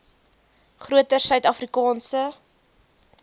groter suid afrikaanse